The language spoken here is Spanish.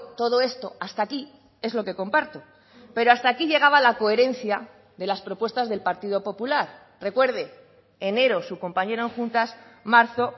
todo esto hasta aquí es lo que comparto pero hasta aquí llegaba la coherencia de las propuestas del partido popular recuerde enero su compañero en juntas marzo